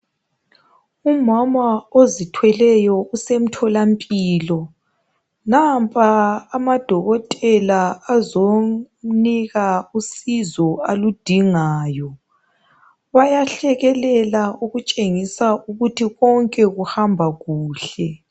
Umama ozithweleyo usemtholampilo. Nampa amadokotela azomnika usizo aludingayo, ayahlekelela okutshengisa ukuthi konke kuhamba kuhle.